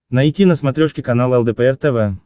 найти на смотрешке канал лдпр тв